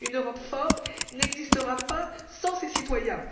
Une Europe forte n'existera pas sans ses citoyens.